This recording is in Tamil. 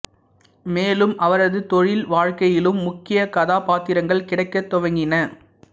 மேலும் அவரது தொழில் வாழ்க்கையிலும் முக்கிய கதாபாத்திரங்கள் கிடைக்கத் துவங்கின